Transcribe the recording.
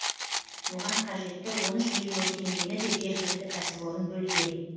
оған қажетті он үш миллион теңгені де жергілікті кәсіпорын бөлген